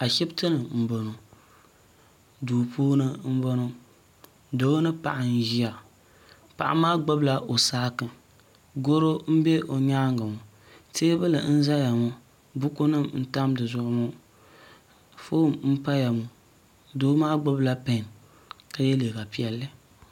ashɛbitɛni n bɔŋɔ do puuni n bɔŋɔ do ni paɣ' n ʒɛya paɣ' maa gbabila o sagi goro n bɛ o nyɛŋa ŋɔ tɛbuli n zaya ŋɔ bukunim n tami di zuɣ ŋɔ ƒɔni n paya ŋɔ domaa gbabila bihi ka yɛ liga piɛli